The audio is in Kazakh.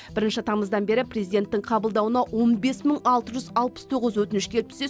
бірінші тамыздан бері президенттің қабылдауына он бес мың алты жүз алпыс тоғыз өтініш келіп түссе